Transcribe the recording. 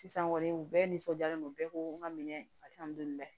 Sisan kɔni u bɛɛ nisɔndiyalen don bɛɛ ko n ka minɛ